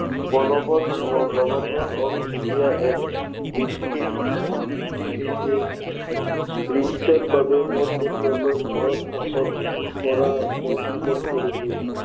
বলৱৎ হোৱা government of India Act eighteen fifty eight এ বৃটিছৰ বাবে পোনপটীয়াকৈ ভাৰত শাসন কৰা পথ সুগম কৰি দিয়ে।